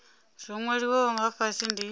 zwo nwaliwaho nga fhasi ndi